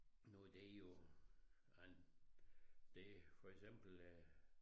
Nu det jo en det for eksempel øh